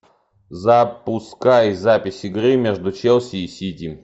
запускай запись игры между челси и сити